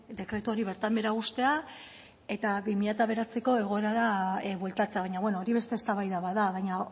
dekretu hori bertan behera uztea eta bi mila bederatziko egoerara bueltatzea baina beno hori beste eztabaida bat da baina